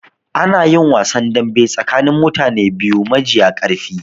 Anayin wasan dambe tsakanin mutane biyu majiya ƙarfi